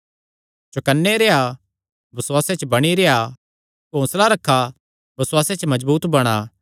चौकनै रेह्आ बसुआसे च बणी रेह्आ हौंसला रखा बसुआसे च मजबूत बणा